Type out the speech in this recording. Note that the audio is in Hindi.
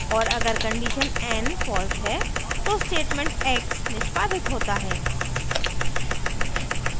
और अगर condition n false है तो statement x निष्पादित होता है